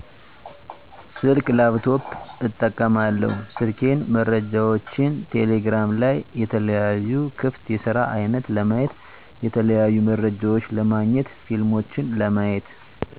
ስልክ፣ ላፕቶፕ እጠቀማለሁ ስልኬን መረጃዎችን ቴሌግራም ላይ የተለያዩ ክፍት የስራ አይነት ለማየት የተለያዩ መረጃዎች ለማግኘት ፊልሞችን ለማየት